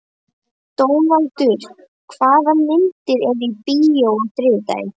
Dónaldur, hvaða myndir eru í bíó á þriðjudaginn?